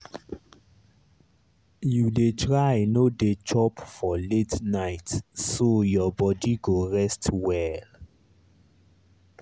you dey try no dey chop for late night so your body go rest well.